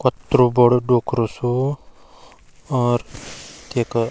कतरू बडू डोक्रू सू और तेका --